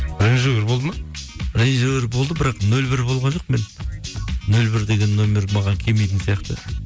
болды ма болды бірақ нөл бір болған жоқпын мен нөл бір деген нөмір маған келмейтін сияқты